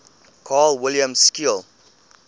carl wilhelm scheele